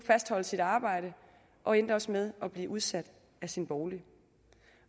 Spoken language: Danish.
fastholde sit arbejde og endte også med at blive udsat af sin bolig